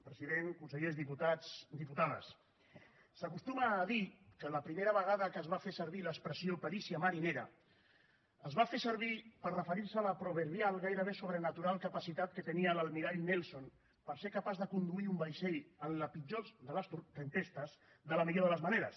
president consellers diputats i diputades s’acostuma a dir que la primera vegada que es va fer servir l’expressió perícia marinera es va fer servir per referir se a la proverbial gairebé sobrenatural capacitat que tenia l’almirall nelson per ser capaç de conduir un vaixell en la pitjor de les tempestes de la millor de les maneres